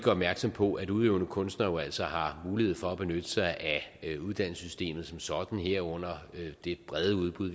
opmærksom på at udøvende kunstnere jo altså har mulighed for at benytte sig af uddannelsessystemet som sådan herunder det brede udbud